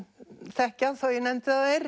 þekkja þó ég nefndi þær